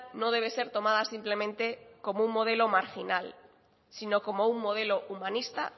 no debe ser tomada simplemente como un modelo marginal sino como un modelo humanista